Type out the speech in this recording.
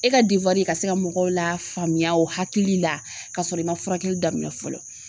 E ka ka se ka mɔgɔw lafaamuya o hakili la ka sɔrɔ i man furakɛli daminɛn fɔlɔ.